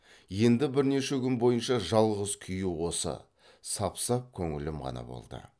енді бірнеше күн бойынша жалғыз күйі осы сап сап көңілім ғана болды